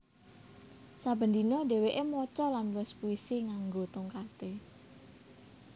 Saben dina dheweké maca lan nulis puisi nganggo tongkaté